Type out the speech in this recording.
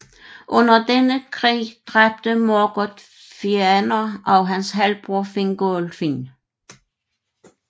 Under denne krig dræbte Morgoth Fëanor og hans halvbror Fingolfin